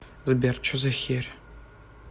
сбер че за херь